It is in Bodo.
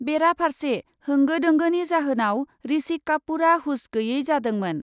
बेराफार्से होंगो दोंगोनि जाहोनाव ऋषि कापुरआ हुस गैयै जादोंमोन।